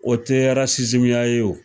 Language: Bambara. O tɛ ya ye o.